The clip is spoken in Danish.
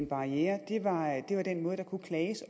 barrierer